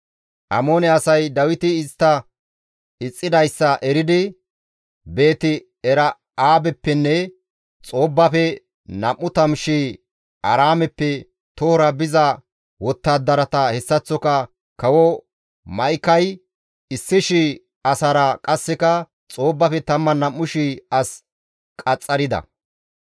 Amoone asay Dawiti istta ixxidayssa eridi Beet-Era7aabeppenne Xoobbafe 20,000 Aaraameppe tohora biza wottadarata hessaththoka kawo Ma7ikay 1,000 asaara qasseka Xoobbafe 12,000 as qaxxarida.